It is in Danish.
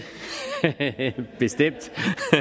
bestemt